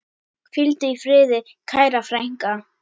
Hvíldu í friði, kæra frænka.